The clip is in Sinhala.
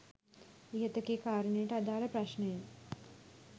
ඉහත කී කාරණයට අදාළ ප්‍රශ්නය